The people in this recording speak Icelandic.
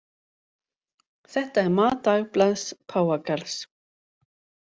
Þetta er mat dagblaðs páfagarðs